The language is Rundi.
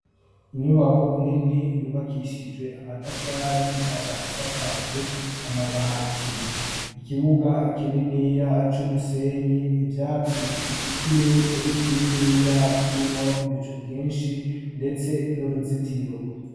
inyubako inini yubakishije amatafari ikaba isakaje amabati ikibuga ikininiya acumusenyi ibyatsi ikirere ikininiya kirimo ibico byinshi ndetse n'uruzitiro